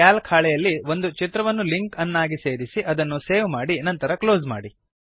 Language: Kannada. ಕ್ಯಾಲ್ಕ್ ಹಾಳೆಯಲ್ಲಿ ಒಂದು ಚಿತ್ರವನ್ನು ಲಿಂಕ್ ಅನ್ನಾಗಿ ಸೇರಿಸಿ ಮತ್ತು ಅದನ್ನು ಸೇವ್ ಮಾಡಿ ಅನಂತರ ಕ್ಲೋಸ್ ಮಾಡಿ